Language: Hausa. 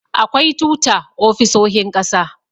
akwai tuta ofisoahin ƙasa